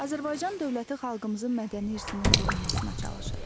Azərbaycan dövləti xalqımızın mədəni irsinin qorunmasına çalışır.